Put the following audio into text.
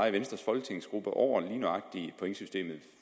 i venstres folketingsgruppe over lige nøjagtig pointsystemet